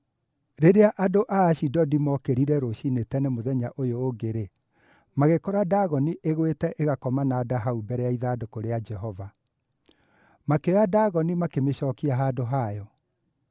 Rĩrĩa andũ a Ashidodi mookĩrire rũciinĩ tene mũthenya ũyũ ũngĩ-rĩ, magĩkora Dagoni ĩgũĩte ĩgakoma na nda hau mbere ya ithandũkũ rĩa Jehova! Makĩoya Dagoni makĩmĩcookia handũ hayo.